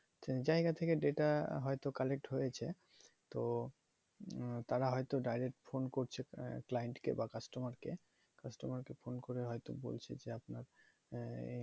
জায়গা থেকে data হয়ে তো collect হয়েছে তো তারা হয়ে তো direct phone করছে client কে বা customer কে customer কে phone করে হয়তো বলছে যে আপনার আহ